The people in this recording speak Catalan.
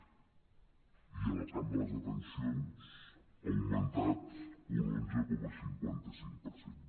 i en el camp de les detencions ha augmentat un onze coma cinquanta cinc per cent